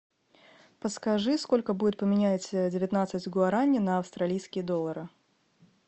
подскажи сколько будет поменять девятнадцать гуарани на австралийские доллары